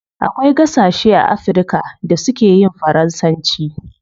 Akwai gasashe a africa da su keyin faransanci